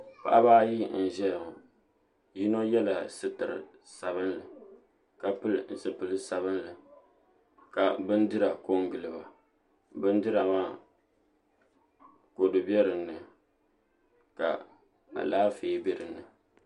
Paɣaba ayi n ʒɛya ŋo bi yino yɛla sitiri sabinli ka pili zipili sabinli ka bindira ko n giliba bindira maa kodu bɛ dinni ka Alaafee bɛ dinni